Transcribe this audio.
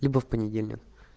либо в понедельник